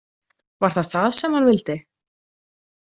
Var það það sem hann vildi?